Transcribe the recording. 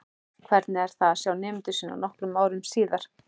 Hvernig það er að sjá nemendur sína nokkrum árum síðar.